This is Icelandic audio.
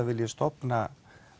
vilji stofna